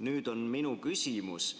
Nüüd on minu küsimus: